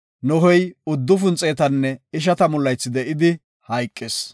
Nohey uddufun xeetanne ishatamu laythi de7idi hayqis.